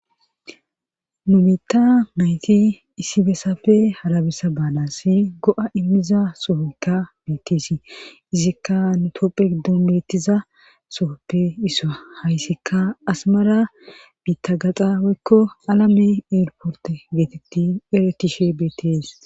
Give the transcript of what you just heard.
Nu bitta nayti isibesafe harabesa baalasi go'a immiza sohoykka betiesi izikka nutoopphe giddon beettiza sohoppe iso hayssikka asmara biitta gaxa weykko alame eelporte geetetti eretishe beettes